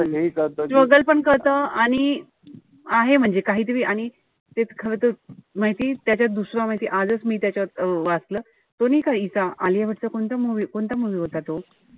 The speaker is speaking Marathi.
struggle पण कळतं आणि आहे म्हणजे काहीतरी. आणि ते खरं तर माहिती त्याच्यात दुसर माहितीये आजच मी त्याच्यात अं वाचलं. तो नाई का हीचा आलिया भट चा कोणता movie होता तो?